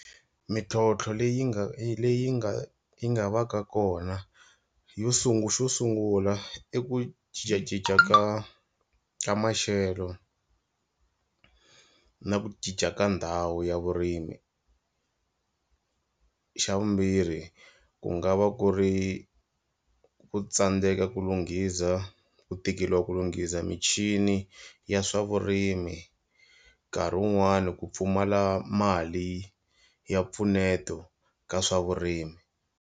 Mintlhotlho leyi nga leyi nga yi nga va ka kona yo sungula xo sungula i ku cincacinca ka ka maxelo na ku cinca ka ndhawu ya vurimi, xa vumbirhi ku nga va ku ri ku tsandzeka ku lunghiza ku tikeriwa ku lunghiza michini ya swa vurimi nkarhi wun'wani ku pfumala mali ya mpfuneto ka swa vurimi.